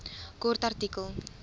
kort artikel